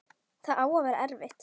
Það á að vera erfitt.